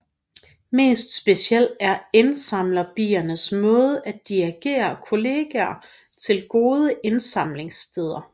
Mest speciel er indsamlerbiernes måde at dirigere kolleger til gode indsamlingssteder